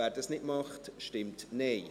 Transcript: wer das nicht möchte, stimmt Nein.